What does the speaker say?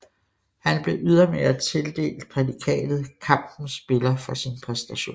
Han blev ydermere tildelt prædikatet kampens spiller for sin præstation